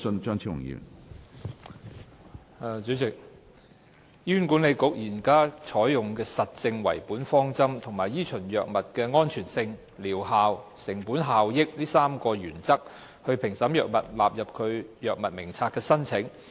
主席，醫院管理局現時採用實證為本的方針和依循藥物的安全性、療效和成本效益3大原則，評審藥物納入其藥物名冊的申請。